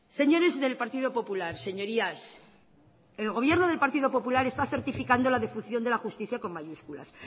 señores del partido popular señorías el gobierno del partido popular está certificando la defunción de la justicia con mayúscula